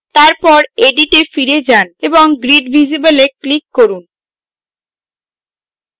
তারপর edit এ ফিরে যান এবং grid visible এ click করুন